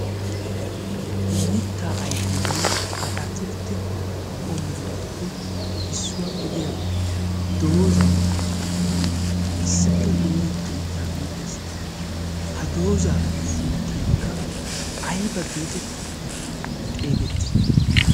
mitta ayfenne atakiltte qomotuppe issuwaa gidiya doozyi issippe dooretti uttaa giddes ha doozaa sunttaykka ayba geetetti xeegettii